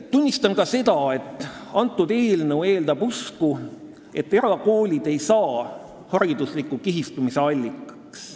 Tunnistan ka seda, et see eelnõu eeldab usku, et erakoolid ei saa haridusliku kihistumise allikaks.